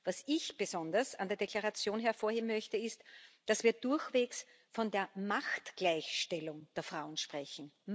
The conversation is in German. Was ich besonders an der Deklaration hervorheben möchte, ist, dass wir durchwegs von der Machtgleichstellung der Frauen sprechen.